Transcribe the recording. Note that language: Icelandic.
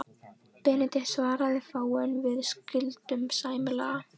Benedikt svaraði fáu, en við skildum sæmilega.